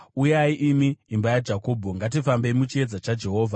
Uyai, imi imba yaJakobho, ngatifambei muchiedza chaJehovha.